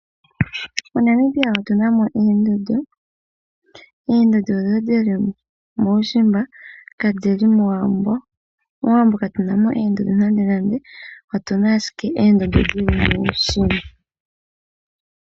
MoNamibia otunamo oondundu, ndhoka dhili muushimba, kadhili mowambo. Mowambo katuna mo oondundu nande nande, otuna ashike oondundu dhili muushimba.